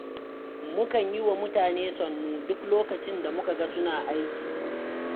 Mukan yi wa mutane sannu duk lokacin da muka ga suna aiki.